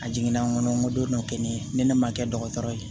A jiginna n kɔnɔ n ko don dɔ kɛ ne ye ni ne ma kɛ dɔgɔtɔrɔ ye